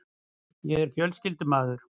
Ég er fjölskyldumaður.